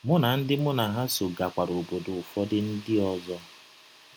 Mụ na ndị mụ na ha sọ gakwara ọbọdọ ụfọdụ ndị ọzọ.